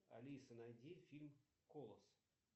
алиса найди фильм колос